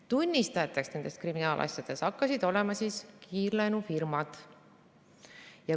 Tunnistajateks nendes kriminaalasjades hakkasid olema kiirlaenufirmad.